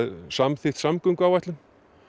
samþykkt samgönguáætlun